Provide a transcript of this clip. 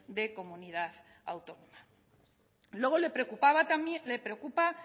de comunidad autónoma luego le preocupa